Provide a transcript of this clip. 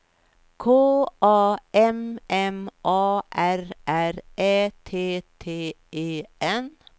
K A M M A R R Ä T T E N